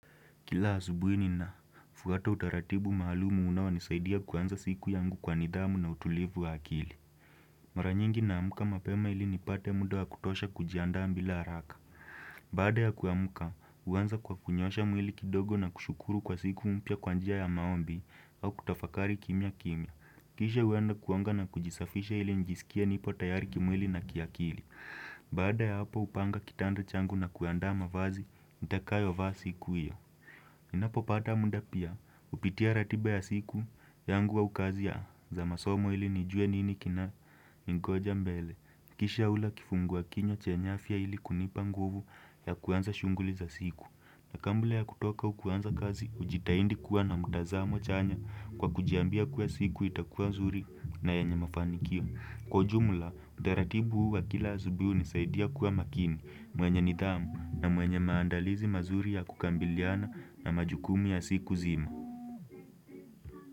Kila asubui nina, fuata utaratibu maalumu unao nisaidia kuanza siku yangu kwa nidhamu na utulivu wa akili. Maranyingi naamuka mapema ili nipate muda wa kutosha kujiandaa mbila haraka. Baada ya kuamuka, huanza kwa kunyosha mwili kidogo na kushukuru kwa siku mpya kwa njia ya maombi au kutafakari kimya kimya. Kisha uanda kuonga na kujisafisha ili nijisikie nipo tayari kimwili na kiakili. Baada ya hapo upanga kitanda changu na kuandaa mavazi, nitakayo vaa siku iyo. Ninapo pada muda pia hupitia ratiba ya siku yangu au kazi za masomo ili nijue nini kina ningoja mbele Kisha hula kifungu a kinywa chenye afya ili kunipa nguvu ya kuanza shunguli za siku na kambla ya kutoka au kuanza kazi ujitaindi kuwa na mutazamo chanya kwa kujiambia kuwa siku itakuwa zuri na yanye mafanikio Kwa ujumla, utaratibu huu wa kila asubiui unisaidia kuwa makini mwenye nidhamu na mwenye maandalizi mazuri ya kukambiliana na majukumu ya siku zima.